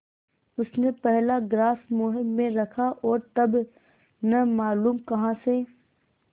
उसने पहला ग्रास मुँह में रखा और तब न मालूम कहाँ से